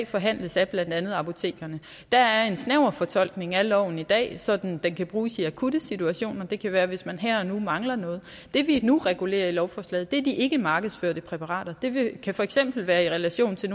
forhandles af blandt andet apotekerne der er en snæver fortolkning af loven i dag så den kan bruges i akutte situationer det kan være hvis man her og nu mangler noget det vi nu regulerer med lovforslaget er de ikkemarkedsførte præparater det kan for eksempel være i relation til